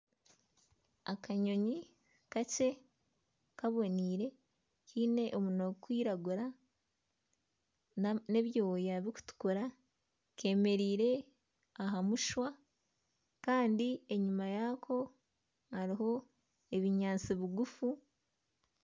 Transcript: Akanyonyi kakye kaboniire kaine omunwa gurikwiragura n'ebyoya birikutukura keemereire aha mushwa kandi enyima yaako hariho ebinyaatsi bigufu